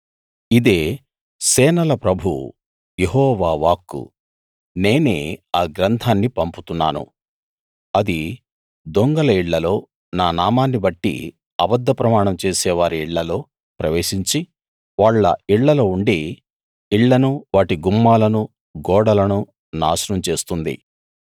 ఇదే సేనల ప్రభువు యెహోవా వాక్కు నేనే ఆ గ్రంథాన్ని పంపుతున్నాను అది దొంగల ఇళ్ళలో నా నామాన్ని బట్టి అబద్ధ ప్రమాణం చేసేవారి ఇళ్ళలో ప్రవేశించి వాళ్ళ ఇళ్ళలో ఉండి ఇళ్ళను వాటి గుమ్మాలను గోడలను నాశనం చేస్తుంది